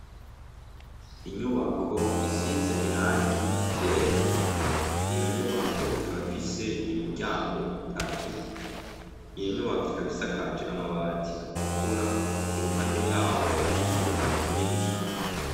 Inyubako isize irangi ryera, iyo nyubako ikaba ifise imiryango itatu, iyo nyubako ikaba isakaje amabati atukura, i ruhande yaho hari ikibuga kinini cane.